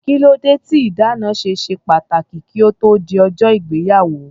Kílódé tí ìdáná ṣe ṣe pàtàkì kí ó tó di ọjọ́ ìgbéyàwó?